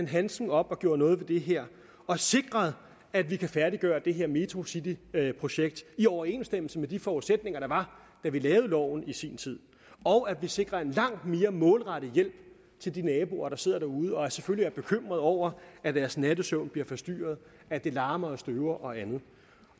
handsken op og gjorde noget ved det her og sikrede at vi kan færdiggøre det her metrocityringprojekt i overensstemmelse med de forudsætninger der var da vi lavede loven i sin tid og at vi sikrer en langt mere målrettet hjælp til de naboer der sidder derude og selvfølgelig er bekymret over at deres nattesøvn bliver forstyrret at det larmer og støver og andet